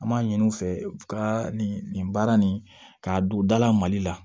An b'a ɲini u fɛ ka nin nin baara nin k'a don dala mali la